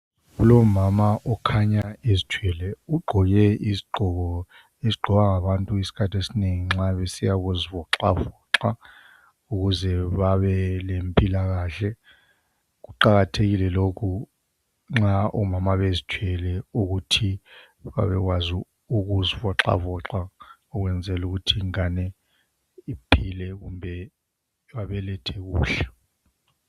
Kulomama okhanya ezithwele. Ugqoke izigqoko, ezigqokwa ngabantu isikhathi esinengi nxa besiya ukuzivoxavoxa, ukuze babe lempilakahle. Kuqakathekile lokhu nxa omama bezithwele, ukuthi babekwazi ukuzivoxavoxa. Ukwenzela ukuthi ingane iphile, kumbe babelethe kuhle.